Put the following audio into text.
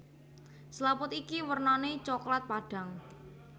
Selaput iki wernané coklat padhang